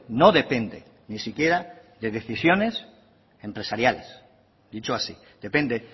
no depende ni siquiera de decisiones empresariales dicho así depende